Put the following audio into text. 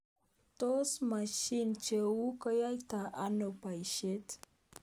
Tos mashinishe chu koyaitoi ano boishet?